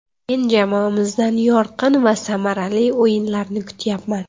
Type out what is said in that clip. Men jamoamizdan yorqin va samarali o‘yinlarni kutyapman.